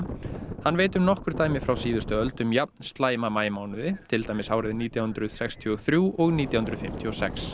hann veit nokkur dæmi frá síðustu öld um jafnslæma maímánuði til dæmis árin nítján hundruð sextíu og þrjú og nítján hundruð fimmtíu og sex